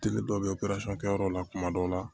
Tigi dɔ bɛ yen yɔrɔ la kuma dɔw la